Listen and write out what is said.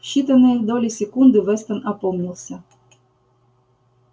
в считанные доли секунды вестон опомнился